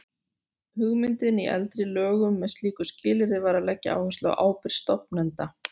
Hugmyndin í eldri lögum með slíku skilyrði var að leggja áherslu á ábyrgð stofnenda.